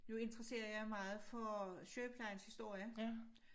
Nu interesserer jeg meget for sygeplejens historie